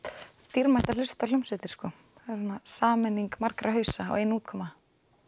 dýrmætt að hlusta á hljómsveitir sameining margra hausa og ein útkoma